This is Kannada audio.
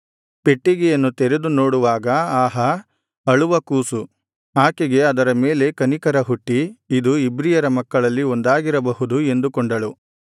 ಪೆಟ್ಟಿಗೆಯನ್ನು ತೆರೆದು ನೋಡುವಾಗ ಆಹಾ ಅಳುವ ಕೂಸು ಆಕೆಗೆ ಅದರ ಮೇಲೆ ಕನಿಕರಹುಟ್ಟಿ ಇದು ಇಬ್ರಿಯರ ಮಕ್ಕಳಲ್ಲಿ ಒಂದಾಗಿರಬಹುದು ಎಂದುಕೊಂಡಳು